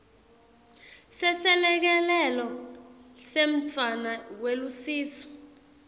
seselekelelo semntfwana welusiso